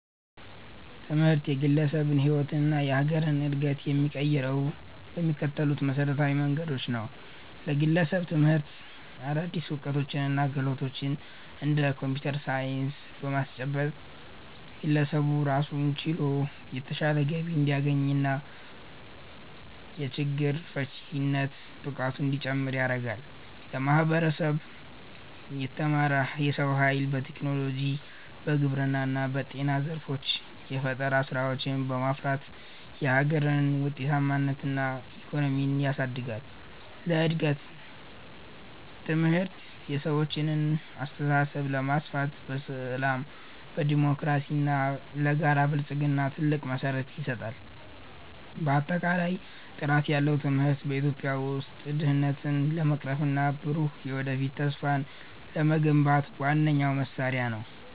ትምህርት የግለሰብን ሕይወትና የሀገርን ዕድገት የሚቀይረው በሚከተሉት መሠረታዊ መንገዶች ነው፦ ለግለሰብ፦ ትምህርት አዳዲስ ዕውቀቶችንና ክህሎቶችን (እንደ ኮምፒውተር ሳይንስ) በማስጨበጥ፣ ግለሰቡ ራሱን ችሎ የተሻለ ገቢ እንዲያገኝና የችግር ፈቺነት ብቃቱ እንዲጨምር ያደርጋል። ለማህበረሰብ፦ የተማረ የሰው ኃይል በቴክኖሎጂ፣ በግብርና እና በጤና ዘርፎች የፈጠራ ስራዎችን በማፍራት የሀገርን ምርታማነትና ኢኮኖሚ ያሳድጋል። ለእድገት፦ ትምህርት የሰዎችን አስተሳሰብ በማስፋት፣ ለሰላም፣ ለዴሞክራሲና ለጋራ ብልጽግና ትልቅ መሠረት ይጥላል። ባጠቃላይ፣ ጥራት ያለው ትምህርት በኢትዮጵያ ውስጥ ድህነትን ለመቅረፍና ብሩህ የወደፊት ተስፋን ለመገንባት ዋነኛው መሳሪያ ነው።